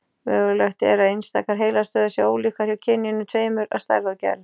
Mögulegt er að einstakar heilastöðvar séu ólíkar hjá kynjunum tveimur að stærð og gerð.